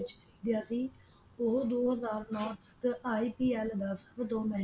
ਵਿਚ ਵਿਕਿਆ ਸੀ ਉਹ ਦੋ ਹਾਜ਼ਰ ਨੌ ਦੇ IPL ਦਾ ਸਦਕ